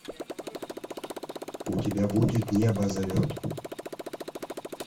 у тебя будет небо зовет